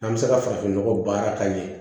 An bɛ se ka farafinnɔgɔ baara ka ɲɛ